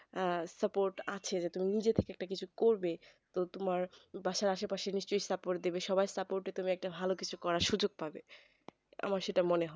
আহ support আছে যে তুমি নিজে থেকে একটা কিছু করবে তো তোমার বাসার আসে পশে নিশ্চই support দেবে সবাই support এ তুমি একটা ভালো কিছু করার সুযোক পাবে আমার সেইটা মনে হয়